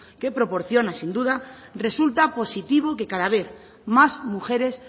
que proporciona sin duda resulta positivo que cada vez más mujeres